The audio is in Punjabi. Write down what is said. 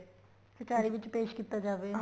ਕਚਿਹਰੀ ਵਿੱਚ ਪੇਸ਼ ਕੀਤਾ ਜਾਵੇ